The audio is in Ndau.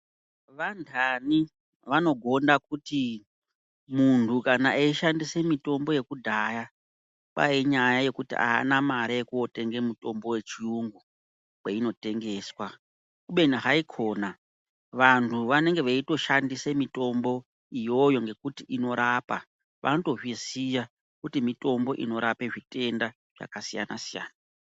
Vandani vanogonda kuti muntu kana eishandise mitombo yekudhaya kwahi inyaya yekuti haana mare yekuotenge mutombo wechiyungu kwainotengeswa. Kubeni haikona vantu vanenge veitoshandise mitombo iyoyo ngekuti inorapa vanotozviziya kuti mitombo inorape zvitenda zvakasiyana-siyana.